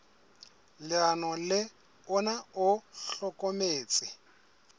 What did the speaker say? leano le ona o hlokometse